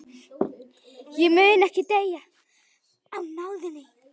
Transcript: Ég mun ekki deyja í náðinni.